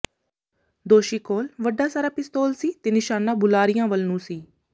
ਦੋਸ਼ੀ ਕੋਲ ਵੱਡਾ ਸਾਰਾ ਪਿਸਤੌਲ ਸੀ ਤੇ ਨਿਸ਼ਾਨਾ ਬੁਲਾਰਿਆਂ ਵੱਲ ਨੂੰ ਸੀ